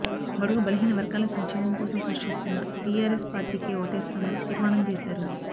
బడుగు బలహీన వర్గాల సంక్షేమం కోసం కృషి చేస్తున్న టీఆర్ఎస్ పార్టీకే ఓటేస్తామని తీర్మానం చేశారు